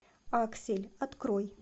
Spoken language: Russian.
аксель открой